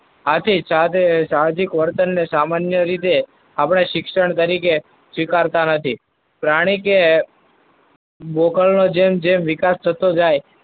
હાથી સાહજિક વર્તનને સામાન્ય રીતે આપણે શિક્ષણ તરીકે સ્વીકારતા નથી. પ્રાણી કે બોકડનું જેમ જેમ વિકાસ થતો જાય